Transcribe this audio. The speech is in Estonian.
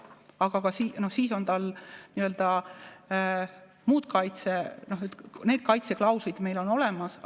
Aga siis on muud kaitseklauslid meil olemas.